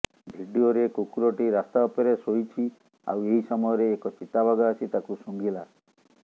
ଭିଡିଓରେ କୁକୁରଟି ରାସ୍ତା ଉପରେ ଶୋଇଛି ଆଉ ଏହି ସମୟରେ ଏକ ଚିତାବାଘ ଆସି ତାକୁ ଶୁଙ୍ଘିଲା